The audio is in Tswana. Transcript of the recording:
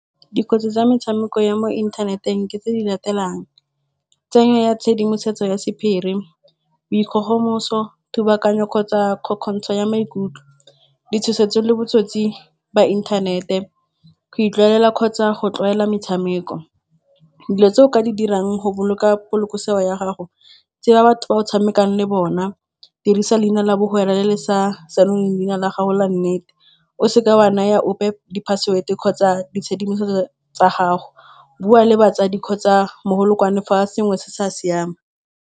Dikotsi tsa metshameko ya mo inthaneteng ke tse di latelang, tsenyo ya tshedimosetso ya sephiri, bo dikgogomoso, dubakanyo kgotsa kgokgotsho ya maikutlo, ditshosetso le botsotsi ba inthanete, go utlwelela kgotsa go tlwaela metshameko. Dilo tse o ka di dirang go boloka polokesego ya gago, tseba batho ba o tshamekang le bona, dirisa leina la bo hwera le le sa senoleng leina la gago la nnete. O seka wa naya ope di-password kgotsa ditshedimosetso tsa gago, bua le batsadi kgotsa mogolokwane fa sengwe se sa siama.